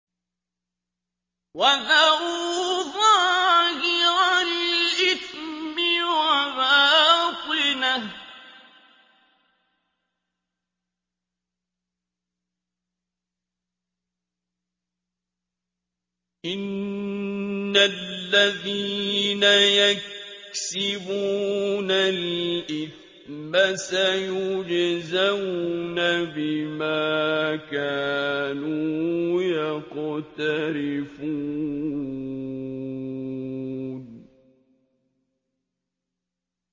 وَذَرُوا ظَاهِرَ الْإِثْمِ وَبَاطِنَهُ ۚ إِنَّ الَّذِينَ يَكْسِبُونَ الْإِثْمَ سَيُجْزَوْنَ بِمَا كَانُوا يَقْتَرِفُونَ